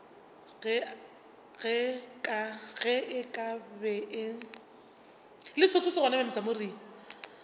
ge e ka be e